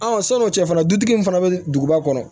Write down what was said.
sɔn'o cɛ fana dutigi in fana bɛ duguba kɔnɔ